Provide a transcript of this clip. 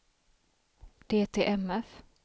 DTMF